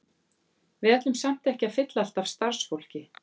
Við ætlum samt ekki að fylla allt af starfsfólki.